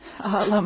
Ağlama.